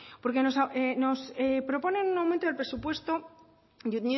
porque nos proponen un aumento del presupuesto de